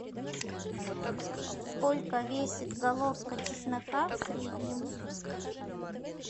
сколько весит головка чеснока в среднем